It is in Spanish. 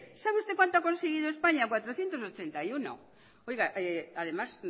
sabe usted cuánto ha conseguido españa cuatrocientos ochenta y uno además